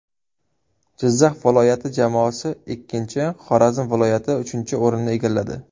Jizzax viloyati jamoasi ikkinchi, Xorazm viloyati uchinchi o‘rinni egalladi.